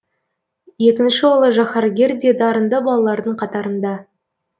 екінші ұлы жаһаргер де дарынды балалардың қатарында